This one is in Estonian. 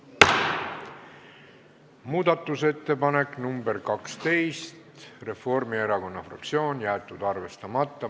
Muudatusettepanek nr 12, esitanud Reformierakonna fraktsioon, jäetud arvestamata.